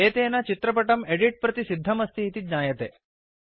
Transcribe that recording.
एतेन चित्रपटं एदित् प्रति सिध्दमस्ति इति ज्ञायते